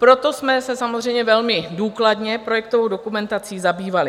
Proto jsme se samozřejmě velmi důkladně projektovou dokumentací zabývali.